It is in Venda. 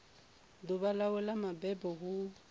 ḓuvha ḽawe ḽa mabebo hu